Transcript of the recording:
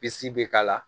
Bisi bɛ k'a la